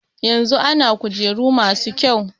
Yanzu ana kujeru masu kyau.